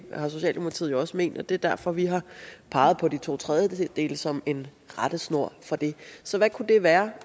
har socialdemokratiet jo også ment og det er derfor vi har peget på de to tredjedeles flertal som en rettesnor for det så hvad kunne det være